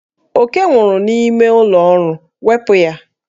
Oke nwụrụ n'ime ụlọ ọrụ, wepụ ya!